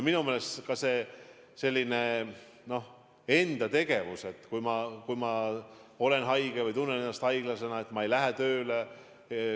Minu meelest on oluline ka enda tegevus, et kui ma olen haige või tunnen ennast haiglasena, siis ma ei lähe tööle.